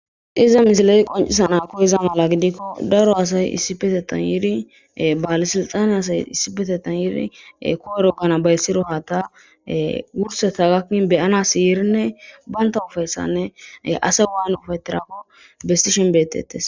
iza misileti qoncisana koheza mala gidikko daro asay issipetetan yiiri baale silxane asay issipetetan yiiri koerogana bayssiro haata wurseta gakkin beyanas yiirinne banta ufayssanne asay waane ufettirakko besti shinbetetes